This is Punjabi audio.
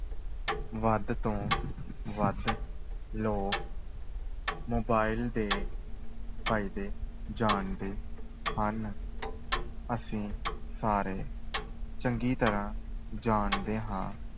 ਵੱਧ ਤੋਂ ਵੱਧ ਲੋਕ mobile ਦੇ ਫਾਇਦੇ ਜਾਣਦੇ ਹਨ ਅਸੀਂ ਸਾਰੇ ਚੰਗੀ ਤਰ੍ਹਾਂ ਜਾਣਦੇ ਹਾਂ